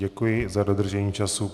Děkuji za dodržení času.